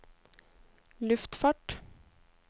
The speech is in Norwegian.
luftfart